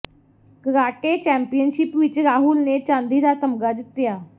karate championship ਵਿਚ ਰਾਹੁਲ ਨੇ ਚਾਂਦੀ ਦਾ ਤਗ਼ਮਾ ਜਿੱਤਿਆ